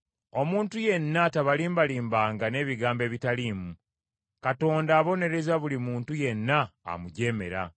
Omuntu yenna tabalimbalimbanga n’ebigambo ebitaliimu. Katonda abonereza buli muntu yenna amujeemera.